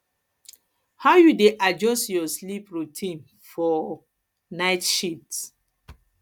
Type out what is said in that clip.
how you dey adjust your sleep routine for um night shifts